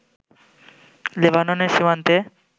লেবাননের সীমান্তে